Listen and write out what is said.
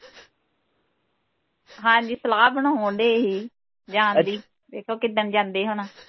ਹਾਂਜੀ ਸਲਾਹ ਬਣਾਉਣ ਦੇ ਹੀ ਜਾਣ ਦੀ ਵੇਖੋ ਕਿੱਦਣ ਜਾਂਦੇ ਹੁਣ